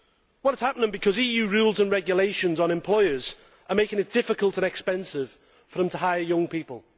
It is happening because EU rules and regulations on employers are making it difficult and expensive for them to hire young people.